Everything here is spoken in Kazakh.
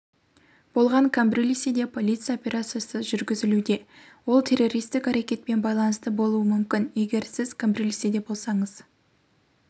болған камбрильседе полиция операциясы жүргізілуде ол террористік әрекетпен байланысты болуы мүмкін егер сіз камбрильседе болсаңыз